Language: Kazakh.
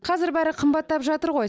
қазір бәрі қымбаттап жатыр ғой